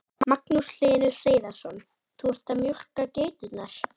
Magnús Hlynur Hreiðarsson: Þú ert að mjólka geiturnar?